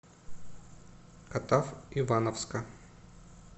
катав ивановска